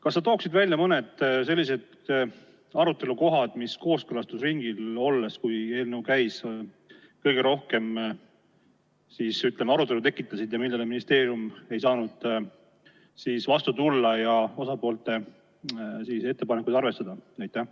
Kas sa tooksid välja mõne arutelukoha, mis siis, kui eelnõu kooskõlastusringil käis, kõige rohkem arutelu tekitas ja millele ministeerium ei saanud vastu tulla ja osapoolte ettepanekuid arvestada?